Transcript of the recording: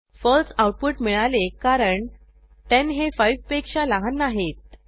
फळसे output मिळाले कारण 10 हे 5 पेक्षा लहान नाहीत